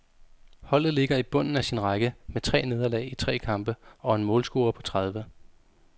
Holdet ligger i bunden af sin række med tre nederlag i tre kampe og en målscore på tredive.